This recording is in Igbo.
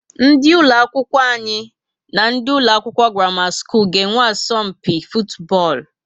Ndị ụlọ akwụkwọ anyi na ndị ụlọ akwụkwọ Gramama school ga azo mpi futubolu